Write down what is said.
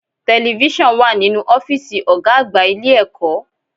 Television wà nínú ọ́fìsì ọ̀gá àgbà ilé ẹ̀kọ́.